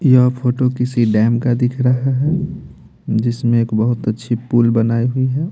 यह फोटो किसी डैम का दिख रहा है जिसमें एक बहुत अच्छी पुल बनाई हुई है।